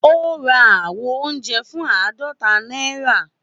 Ó ra àwo oúnjẹ fún àádọ́ta náírà